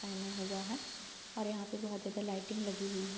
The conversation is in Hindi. पहना हुआ है और यहाँ पे बोहोत ज्यादा लाइटिंग लगी हुई है।